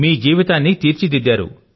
మీ యొక్క జీవనాన్ని తీర్చిదిద్దారు